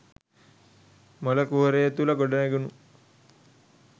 මොල කුහරය තුළ ගොඩනැඟුණු